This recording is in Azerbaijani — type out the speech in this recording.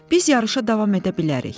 Biz yarışa davam edə bilərik.